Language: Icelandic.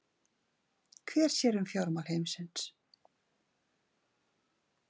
Hver sér um fjármál heimilisins?